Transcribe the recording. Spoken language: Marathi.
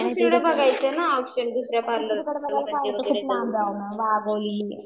दुसरीकडं बघायचं ना पार्लर ऑप्शन दुसरे